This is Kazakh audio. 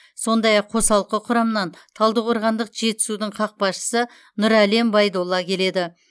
сондай ақ қосалқы құрамнан талдықорғандық жетісудың қақпашысы нұрәлем байдолла келеді